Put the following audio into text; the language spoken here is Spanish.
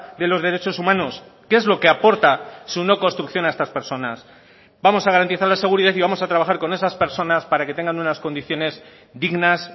de los derechos humanos qué es lo que aporta su no construcción a estas personas vamos a garantizar la seguridad y vamos a trabajar con esas personas para que tengan unas condiciones dignas